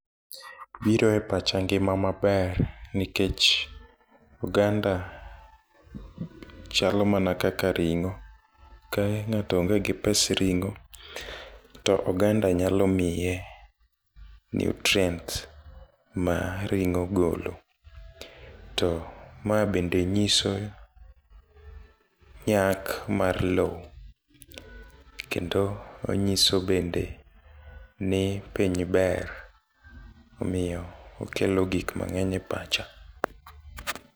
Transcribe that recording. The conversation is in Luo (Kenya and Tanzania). Biro e pacha ngima maber nikech oganda chalo mana kaka ring'o. Ka ng'ato onge gi pes ring'o to oganda nyalo miye nutrients ma ring'o golo. To ma bende nyiso nyak mar lowo kendo onyiso bende ni piny ber omiyo okelo gik mang'eny e pacha.